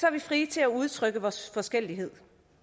er vi frie til at udtrykke vores forskellighed